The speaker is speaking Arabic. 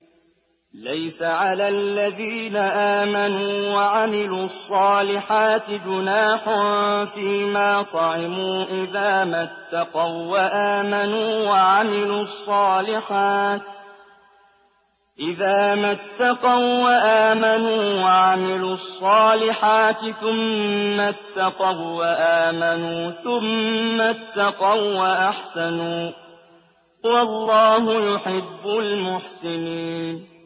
لَيْسَ عَلَى الَّذِينَ آمَنُوا وَعَمِلُوا الصَّالِحَاتِ جُنَاحٌ فِيمَا طَعِمُوا إِذَا مَا اتَّقَوا وَّآمَنُوا وَعَمِلُوا الصَّالِحَاتِ ثُمَّ اتَّقَوا وَّآمَنُوا ثُمَّ اتَّقَوا وَّأَحْسَنُوا ۗ وَاللَّهُ يُحِبُّ الْمُحْسِنِينَ